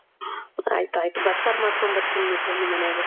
ಆಯ್ತಾಯ್ತು. ಬಸ್ಸಾರ್ ಮಾಡ್ಕೊಂಡ್ ಬರ್ತೀನಿ ಬಿಡ್ರಿ ನಿಮ್ಮನೆಗೆ.